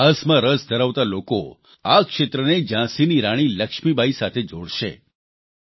ઇતિહાસમાં રસ ધરાવતા લોકો આ ક્ષેત્રને ઝાંસીની રાણી લક્ષ્મીબાઇ સાથે જોડશે